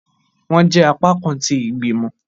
Wọn jẹ apakan tí igbimọ.